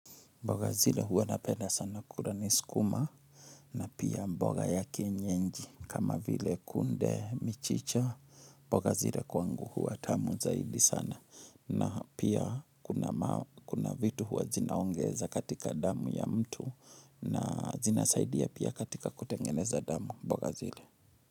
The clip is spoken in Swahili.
Mboga zile huwa napenda sana kula ni sukuma na pia mboga ya kienyeji kama vile kunde, michicha. Mboga zile kwangu huwa tamu zaidi sana na pia kuna kuna vitu huwa zinaongeza katika damu ya mtu na zina saidia pia katika kutengeneza damu, mboga zile.